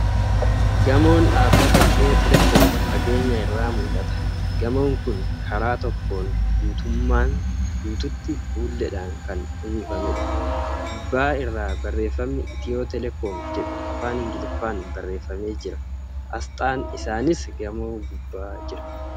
Gamoon dhaabbata Itiyoo Teeleekoom fageenya irraa mul'ata. Gamoon kun karaa tokkoon guutummaan guutuutti fuulleedhaan kan uwwifameedha. Gubbaa irraa barreeffamni ' Itiyoo Teeleekoom ' jedhu Afaan Ingiliffaan barreeffamee jira . Asxaan isaaniis gamoo gubbaa jira.